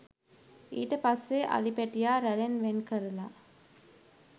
ඊට පස්සේ අලි පැටියා රැලෙන් වෙන් කරලා